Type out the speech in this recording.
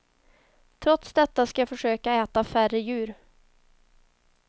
Trots detta ska jag försöka äta färre djur.